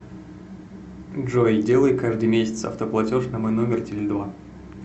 джой делай каждый месяц автоплатеж на мой номер теле два